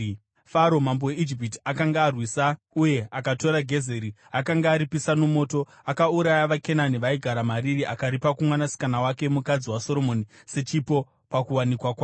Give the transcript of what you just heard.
Faro mambo weIjipiti akanga arwisa uye akatora Gezeri. Akanga aripisa nomoto. Akauraya vaKenani vaigara mariri akaripa kumwanasikana wake, mukadzi waSoromoni sechipo pakuwanikwa kwake.